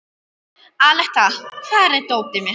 Aletta, hvar er dótið mitt?